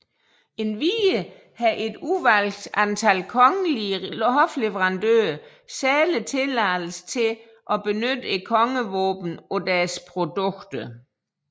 Endvidere har et udvalgt antal kongelige hofleverandører særlig tilladelse til at benytte kongevåbnet på deres produkter